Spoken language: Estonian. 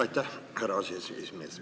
Aitäh, härra aseesimees!